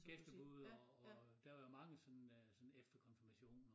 Gæstebud og og der var mange sådan øh sådan efter konfirmationer